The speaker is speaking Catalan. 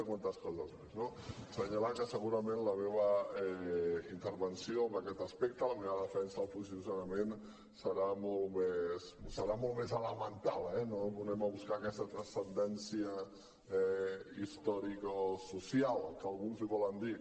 assenyalar que segurament la meva intervenció en aquest aspecte la meva defensa del posicionament serà molt més elemental eh no anem a buscar aquesta transcendència historicosocial que alguns en volen dir